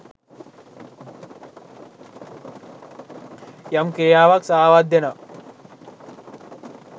යම් ක්‍රියාවක් සාවද්‍ය නම්